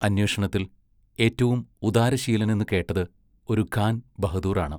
അന്വേഷണത്തിൽ ഏറ്റവും ഉദാരശീലനെന്ന് കേട്ടത് ഒരു ഖാൻ ബഹദൂറാണ്.